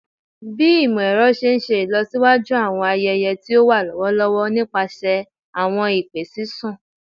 Bi imọ-ẹrọ ṣe n ṣe ilọsiwaju awọn ayẹyẹ ti o wa lọwọlọwọ nipasẹ awọn ipe sisun